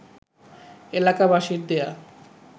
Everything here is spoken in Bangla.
এলাকাবাসীর দেয়া